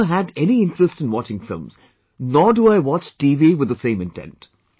I have never had any interest in watching films, nor do I watch TV with the same intent